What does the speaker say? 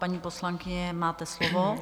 Paní poslankyně, máte slovo.